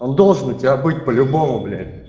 он должен у тебя быть по-любому блять